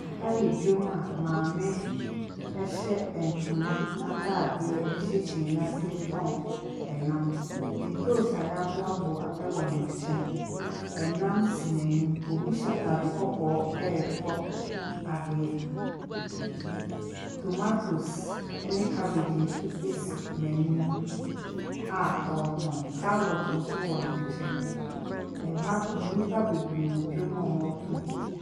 Ha yɛ dwam a maame hyɛ ntoma atadeɛ hyɛ kyiniiɛ ase retɔn nnam. Ntoosi a wɔaboaboa wɔ ne nkyɛn. Nnam si n'anim. Obi hyɛ atade kɔkɔɔ retɔ adeɛ. Tomatoes ne cabbage nso si n'anim a ɔretɔn. Carrot nso wɔ ne nkyɛn. Ha, nnipa bebree wɔ dwam a wɔretɔ bi.